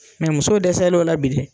Mɛ muso dɛsɛ lɔ la bi dɛ.